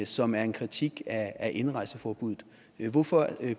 som er en kritik af indrejseforbuddet hvorfor